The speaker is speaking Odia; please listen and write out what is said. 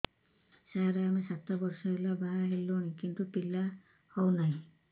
ସାର ଆମେ ସାତ ବର୍ଷ ହେଲା ବାହା ହେଲୁଣି କିନ୍ତୁ ପିଲା ହେଉନାହିଁ